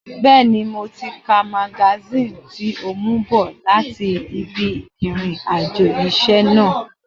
Bẹ́ẹ̀ni, mo ti ka magasíìnì tí o mú bọ̀ láti ibi ìrìn àjò iṣẹ́ náà